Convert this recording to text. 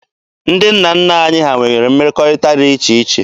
Ndị nna nna anyị ha nwere mmekọrịta dị iche iche.